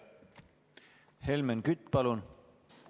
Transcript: Helmen Kütt, palun!